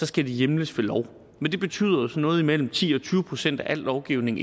skal det hjemles ved lov det betyder at noget imellem ti og tyve procent af al lovgivning